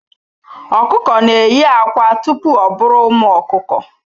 Okuko na eyi akwa tupu o buru ụmụ okuku.